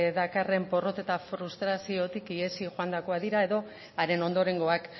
dakarren porrot eta frustraziotik ihesi joandakoak dira edo haren ondorengoak